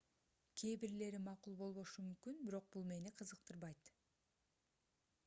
кээ бирлери макул болбошу мүмкүн бирок бул мени кызыктырбайт